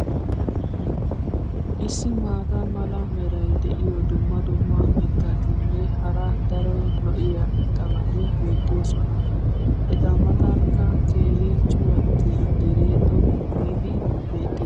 issi maata mala meray diyo dumma dumma mitatinne hara daro lo'iya irxxabati beetoosona. Eta matankka keehi cuwattiya deree xoqqu giidi beetees.